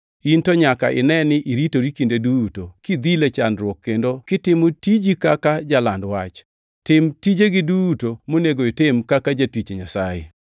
In to nyaka ine ni iritori kinde duto; kidhil e chandruok kendo kitimo tiji kaka jaland wach. Tim tijegi duto monego itim kaka jatich Nyasaye.